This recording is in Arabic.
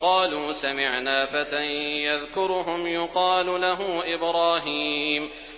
قَالُوا سَمِعْنَا فَتًى يَذْكُرُهُمْ يُقَالُ لَهُ إِبْرَاهِيمُ